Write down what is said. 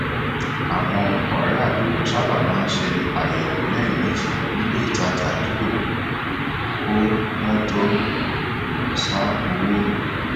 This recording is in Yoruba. àwọn ọrẹ àdúgbò sábà máa ń ṣe àyẹwò lẹẹmejì ní ilé ìtajà àdúgbò kó wọn tó sá owó